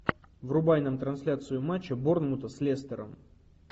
врубай нам трансляцию матча борнмута с лестером